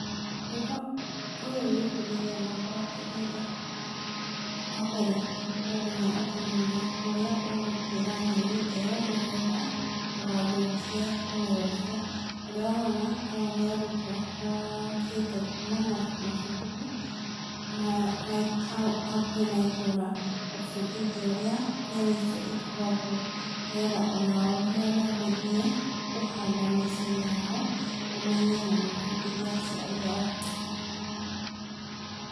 Kwĩra ũyũ ũngĩbundithia mũndũ atĩrĩrĩ, wa mbere no nginya ũkamenya harĩa ũgũtwĩra nyeni ĩo nĩ getha ndũgathũkie mũmera ũcio. Ũrĩa ũrona aya nĩ arutwo mokĩte kuma macukuru hakuhĩ na itũra gũbundithio ũrĩa nyeni icio ituagwo nĩ getha onao rĩrĩa megũthiĩ kũhanda mĩciĩ-inĩ yao mamenye na mabundithie aciari ao.